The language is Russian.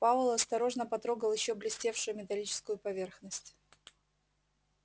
пауэлл осторожно потрогал ещё блестевшую металлическую поверхность